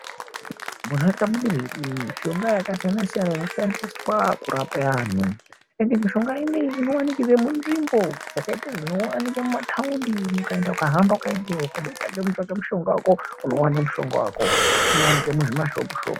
Muntaraunda mune zvi mushonga yakasiyana siyana inoshandiswa kurapa anhu ende mushonga ineyi inowanikwe munzvimbo dzakaite dzinoonekwa mumataundi ukaenda ukahamba ukaendeyo ukade kutange kutsvake mushonga wako unowane mushonga wako unowanike muzvimashopu shopu.